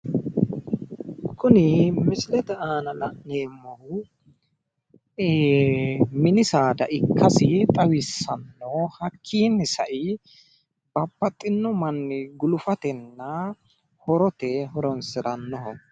Kuni misilete aana la'neemmohu iiii mini saada ikkasi xawissanno hakkiinni sae babbaxxinno manni gulufatenna horote horonsirannoho.